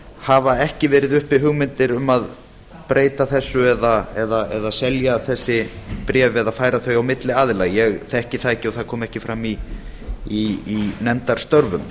hafa ekki verið uppi hugmyndir um að breyta þessu eða selja þessi bréf eða færa þau á milli aðila ég þekki það ekki og það kom ekki fram í nefndarstörfum